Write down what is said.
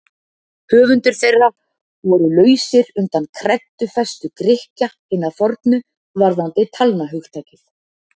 höfundar þeirra voru lausir undan kreddufestu grikkja hinna fornu varðandi talnahugtakið